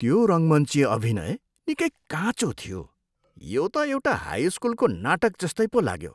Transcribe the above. त्यो रङ्गमञ्चिय अभिनय निकै काँचो थियो। यो त एउटा हाई स्कुलको नाटक जस्तै पो लाग्यो।